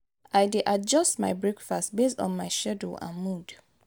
i dey adjust my breakfast based on my schedule and mood.